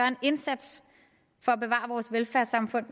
en indsats for at bevare vores velfærdssamfund